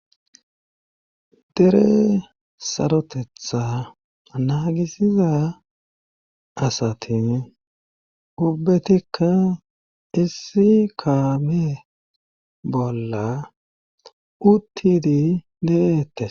Dere sarotetha naagisiza asatin ubbetikka issi kabe bolla uttidi leette